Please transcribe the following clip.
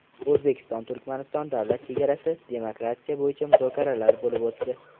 O‘zbekiston-Turkmaniston davlat chegarasi demarkatsiyasi bo‘yicha muzokaralar bo‘lib o‘tdi.